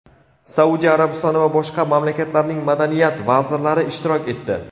Saudiya Arabistoni va boshqa mamlakatlarning madaniyat vazirlari ishtirok etdi.